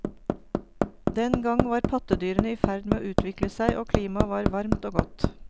Den gang var pattedyrene i ferd med å utvikle seg, og klimaet var varmt og godt.